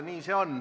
Nii see on.